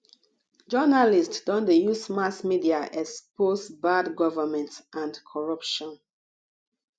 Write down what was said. journalists don dey use mass media expose bad government and corruption